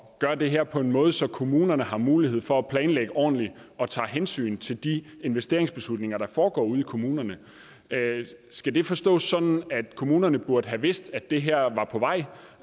at gøre det her på en måde så kommunerne har mulighed for at planlægge ordentligt og tage hensyn til de investeringsbeslutninger der foregår ude i kommunerne skal det forstås sådan at kommunerne burde have vidst at det her var på vej